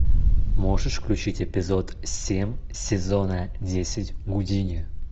можешь включить эпизод семь сезона десять гудини